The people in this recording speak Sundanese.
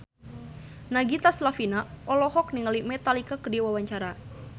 Nagita Slavina olohok ningali Metallica keur diwawancara